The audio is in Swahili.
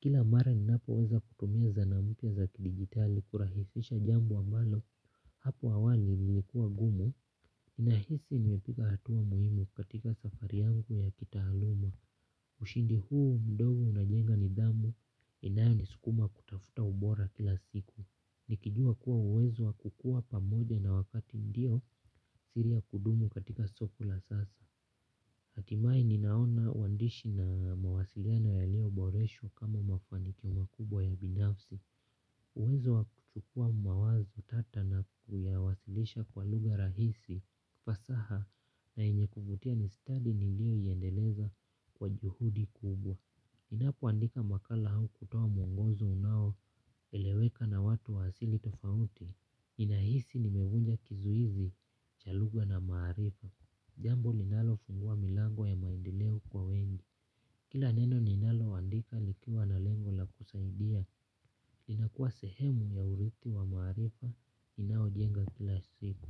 Kila mara ninapo weza kutumia zana mpya za kidigitali kurahisisha jambo ambalo hapo awali ilikuwa ngumu nahisi nimeepuka hatua muhimu katika safari yangu ya kitaalumu. Ushindi huu mdogo unajenga nidhamu inayo niskuma kutafuta ubora kila siku. Nikijua kuwa uwezo wa kukua pamoja na wakati ndio siri ya kudumu katika soko la sasa. Hatimai ninaona uandishi na mawasiliana yaliyoboreshwa kama mafanikio makubwa ya binafsi. Uwezo wa kuchukua mawazo tata na kuyawasilisha kwa lugha rahisi ufasaha na yenye kuvutia ni study niliyo iendeleza kwa juhudi kubwa. Ninapoandika makala au kutoa mwongozo unaoeleweka na watu wa asili tofauti ninahisi nimevunja kizuizi cha lugha na maarifa. Jambo linalofungua milango ya maendeleo kwa wengi. Kila neno ninaloandika nikiwa na lengo la kusaidia inakuwa sehemu ya urithi wa maarifa inayojenga kila siku.